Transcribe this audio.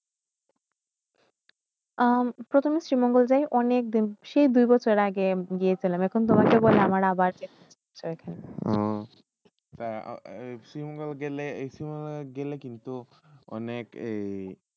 প্রথমে শ্রীমঙ্গল জায়ে অনেক দিন সেই দুই বসর আগে গেসিলাম আবার আমাকে